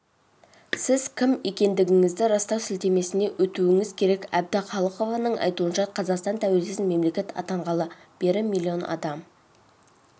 сіз кім екендігіңізді растау сілтемесіне өтуіңіз керек әбдіхалықованың айтуынша қазақстан тәуелсіз мемлекет атанғалы бері миллион адам